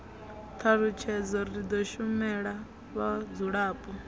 thalutshedzo ri do shumela vhadzulapo